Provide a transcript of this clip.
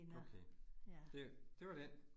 Okay. Det det var den